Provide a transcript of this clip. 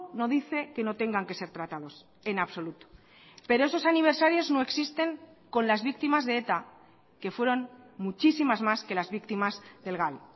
no diceque no tengan que ser tratados en absoluto pero esos aniversarios no existen con las víctimas de eta que fueron muchísimas más que las víctimas del gal